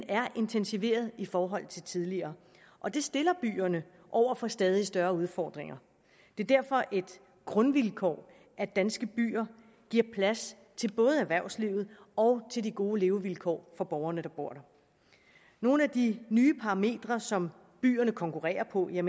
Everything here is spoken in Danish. er intensiveret i forhold til tidligere og det stiller byerne over for stadig større udfordringer det er derfor et grundvilkår at danske byer giver plads til både erhvervslivet og de gode levevilkår for borgerne der bor der nogle af de nye parametre som byerne konkurrerer på er